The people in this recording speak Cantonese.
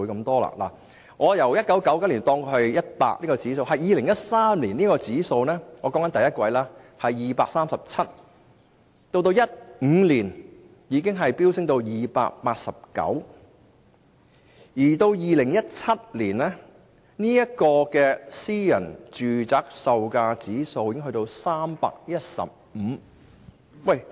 假設1999年的私人住宅售價指數是 100，2013 年——我指的是第一季——已是 237， 到2015年已進一步飆升至 289， 而2017年時更高達315。